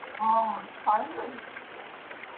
हा भारी दिसत होती पण नाही ती